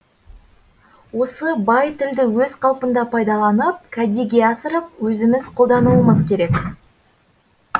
осы бай тілді өз қалпында пайдаланып кәдеге асырып өзіміз қолдануымыз керек